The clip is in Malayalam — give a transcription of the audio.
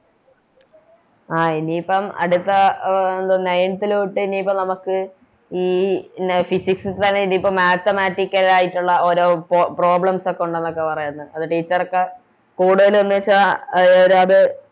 ആ ഇനിയിപ്പം അടുത്ത Nineth ലോട്ട് എനിയിപ്പം നമുക്ക് ഈ Physiscs ൽ തന്നെ ഇതിപ്പോ Mathamatical ആയിട്ടൊള്ള ഓരോ Problems ഒക്കെ ഒണ്ടെന്നൊക്കെ പറയുന്ന് അത് Teacher കൂടുതലെന്ന് വെച്ച അതിനൊരത്